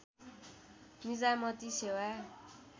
निजामती सेवा